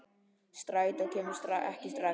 Strætó kemur ekki strax.